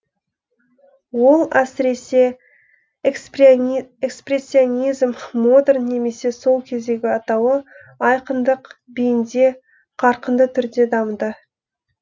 ол әсіресе экспрессионизм модерн немесе сол кездегі атауы айқындық биінде қарқынды түрде дамыды